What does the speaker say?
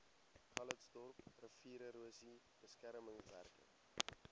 calitzdorp riviererosie beskermingswerke